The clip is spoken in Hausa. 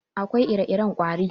Akwai ire-iren ƙwari.